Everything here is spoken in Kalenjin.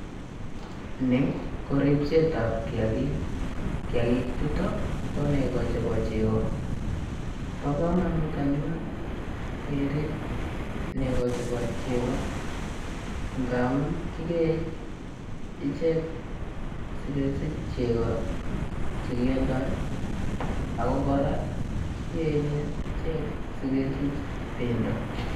Ni ko ripset ap kiyakik. Kiyakik chuto ko nekoo chepo chego. Bo komonut anyun keriip negoo chepo chego ngamu kikee ichek si kesich chego che kialdoi ago koraa kiyenye ichek si kesich pendo.